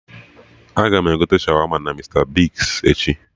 Agam egote Shawama na Mista Bigz echi